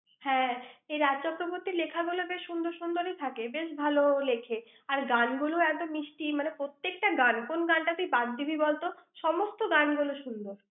হ্যাঁ। এই রাজ চক্রবর্তীর লেখাগুলো বেশ সুন্দর সুন্দরী থাকে। বেশ ভালো লেখে। আর গানগুলো এত মিষ্টি, মানে প্রত্যেকটা গান। কোন গানটা তুই বাদ দিবি বলত? সমস্ত গানগুলো সুন্দর।